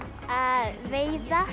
að veiða